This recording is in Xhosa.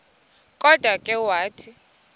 kodwa ke wathi